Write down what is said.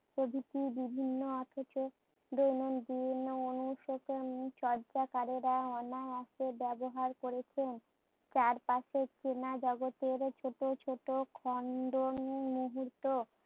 প্রভৃতির বিভিন্ন অথচ চর্যাকারেরা অনায়াসে ব্যাবহার করেছে। চারপাশের চেনা জগতের ছোট ছোট মুহূর্ত